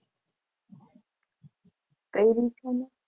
કઈરી છે ને.